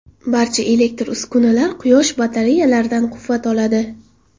Barcha elektr uskunalar quyosh batareyalaridan quvvat oladi.